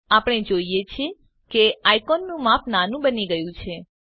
આપણે જોઈએ છીએ કે આઈકોનોનું માપ નાનું બની ગયું છે